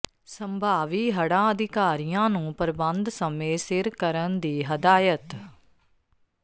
ਸੰਭਾਵੀ ਹੜ੍ਹਾਂ ਅਧਿਕਾਰੀਆਂ ਨੂੰ ਪ੍ਰਬੰਧ ਸਮੇਂ ਸਿਰ ਕਰਨ ਦੀ ਹਦਾਇਤ